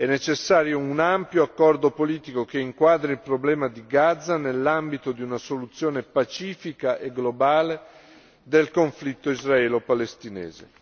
È necessario un ampio accordo politico, che inquadri il problema di Gaza nell'ambito di una soluzione pacifica e globale del conflitto israelo palestinese.